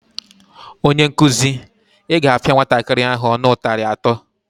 Onyenkụzi, Ị ga-apịa nwatakịrị ahụ ọnụ ụtarị atọ!